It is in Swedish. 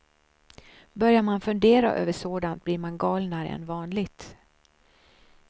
Börjar man fundera över sådant blir man galnare än vanligt.